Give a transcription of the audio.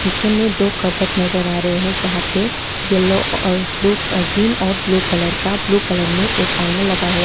पीछे में दो कबर्ड नजर आ रहे हैं जहां पे यलो और ब्लू ग्रीन और ब्लू कलर का ब्लू कलर में एक आईना लगा हुआ--